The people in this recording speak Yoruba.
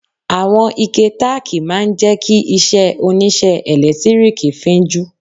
Àwọn ike tákìì máa ń jẹ́ kí iṣẹ́ oníṣẹ́ ẹ̀lẹ́tíríkì fín jú.